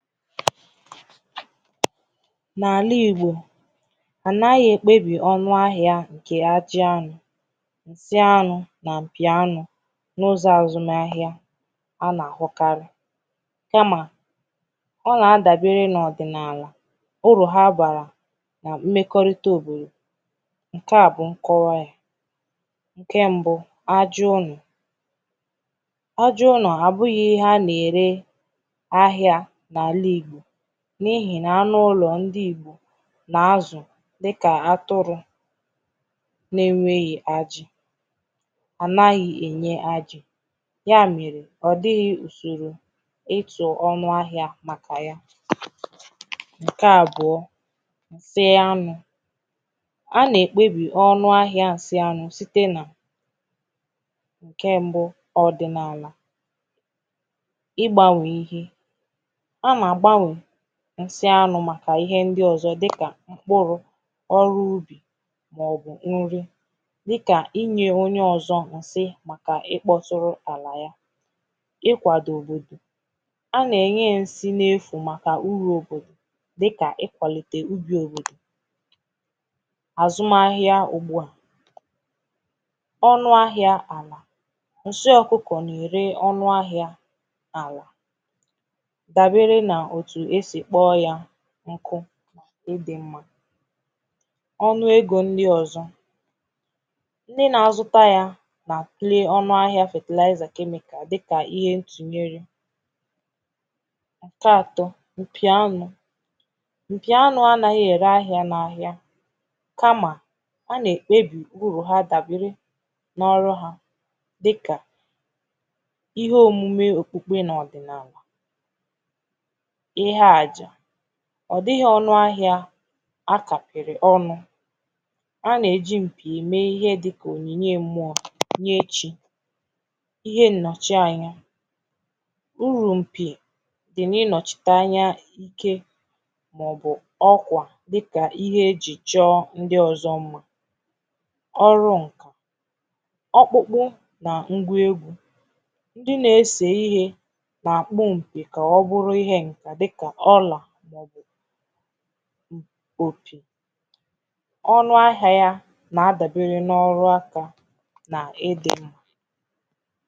N’ala Igbò a naghì ekpebi ọnụ ahịà nke ajị̀ anụ̀ dị anụ̀ na mpì anụ̀ n’ụzọ azụmà ahịà a na-ahụkarị̀ kamà ọ na-adabere n’ọdịnaalà uru ha barà na mmekorità òbodò nke à bụ̀ nkọwà yà nke mbụ̀ ajị ọnụ̀ ajị ọnà abụghị̀ ihe a na-ere ahịà n’alì n’ihi na n’ụlọ̀ ndii na-azụ̀ dịkà atụrụ na-enweghì ajị̀ a naghì enye a ya mere ọdịghị̀ usorò ịtụ̀ ọnụ̀ ahịà makà yà nke abụọ̀ tiē anụ̀ a na-ekpebì ọnụ̀ ahịà sị anụ̀ sitē nà nke mbụ̀ ọdịnaalà ịgbanwe ihe ọ na-agbanwe nsị anụ̀ makà ihe ndị ọzọ̀ dịkà m̄kpụrụ ọrụ̀ ụlọ̀ maọbụ̀ nrì dịkà inye onye ọzọ̀ nsị̀ makà ịkpọtụrụ̀ alà yà ịkwadobe a na-enye nsị n’efù makà uru òbodò dịkà ikwalite ubì o azụmà ahịà ugbu à ọnụ̀ ahịà alà nsị̀ ọkụkọ̀ na-ere ọnụ̀ ahịà awụrụ̀ dabere n’otù e si kpọ̀ yà nkụ̀ ịdị mmà ọnụ̀ egō ndị ọzọ̀ ndị̀ na-azụtà yà downplay ọnụ̀ ahịà fertilizer chemical dịkà ihe ntụnyere nke atọ mpì anụ̀ mpì anụ̀ anaghị̀ ere ahịà n’ahịà kamà a na-ekpebì uru ha dabere n’ọrụ̀ ha dịkà ihe omume okpukpe na ọdịnaalà ihe ajà ọ dịghị̀ ọnụ̀ ahịà akapịrị̀ ọnụ̀ a na-eji mpì eme ihe dịkà onyinye mmụọ nye chi ihe nnọchị anya uru mpì dị na ịnọchità anya ke maọ̀bụ̀ ọkwà di̇kà ihe eji chọ ndị ọzọ̀ mmà ọrụ n ọkpụkpụ na ngwa egwū dị na-ese ihe na-akpọ mpì ka ọ bụrụ ihe n na-adịkà ọlà o ọnụ̀ ahịà yà na-adabere n’ọrụ̀ akà na ịdị̀